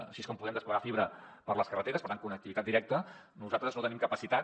així com podem desplegar fibra per les carreteres per tant connectivitat directa nosaltres no tenim capacitat